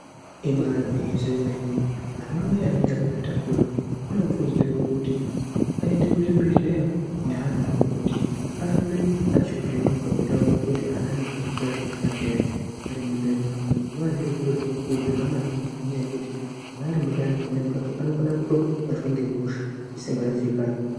Ibaari gwinyiso yemene anamai anenge akazvitakura anokurudzirwa kuti aende kuzvibhedhleya neana awo kuti arambe achivhenekwa kuti aonekwe kuti ana anenge achikukura zvakanaka here arimundani imwona. Zvinova zviri zviro zvinokurudzirwa maningi ngenyaya yekuti mwana atimundani pamweni pacho anokone kutobatwa ngehosha isingaziikanwi.